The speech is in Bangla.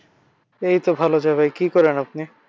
এইতো ভালো যায় ভাই। কি করেন আপনি?